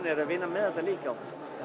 er að vinna með þetta líka